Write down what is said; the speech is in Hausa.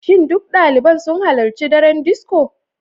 Shin duk daliban sun halarci daren disco?